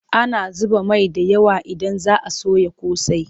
Ana zuba mai da yawa idan za a soya ƙosai.